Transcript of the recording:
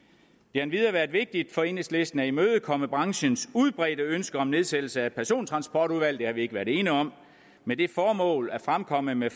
endvidere været vigtigt for enhedslisten at imødekomme branchens udbredte ønske om nedsættelse af et persontransportudvalg det har vi ikke været alene om med det formål at fremkomme med